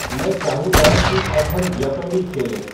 मैं चाहूँगा कि अब हम ज्यॉपर्डी खेलें